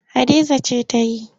Hadiza ce ta yi.